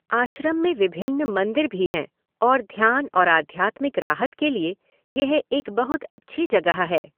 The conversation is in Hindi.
आश्रम में विभिन्न मंदिर भी हैं और ध्यान और आध्यात्मिक राहत के लिए यह एक बहुत अच्छी जगह है।